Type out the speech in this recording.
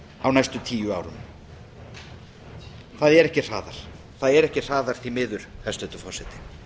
á næstu tíu árum það er ekki hraðar því miður hæstvirtur forseti